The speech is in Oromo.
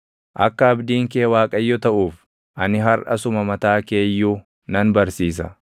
Akka abdiin kee Waaqayyo taʼuuf ani harʼa suma mataa kee iyyuu nan barsiisa.